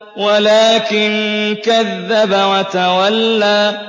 وَلَٰكِن كَذَّبَ وَتَوَلَّىٰ